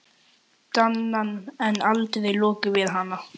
Danann, en aldrei lokið við hana.